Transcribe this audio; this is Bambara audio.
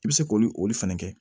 I bɛ se k'olu olu fɛnɛ kɛ